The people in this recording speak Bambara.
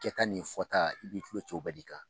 Kɛta ni fɔta i b'i tulo ci o bɛɛ de kan